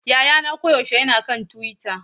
Yayana koyaushe yana kan Twitter.